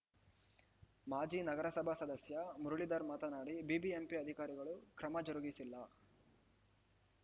ಮಾಜಿ ನಗರಸಭಾ ಸದಸ್ಯ ಮುರಳೀಧರ್‌ ಮಾತನಾಡಿ ಬಿಬಿಎಂಪಿ ಅಧಿಕಾರಿಗಳು ಕ್ರಮ ಜರುಗಿಸಿಲ್ಲ